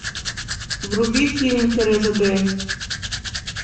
вруби фильм тереза д